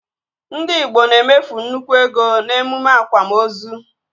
Ndị igbo na-emefu nnukwu ego n'emume akwamozu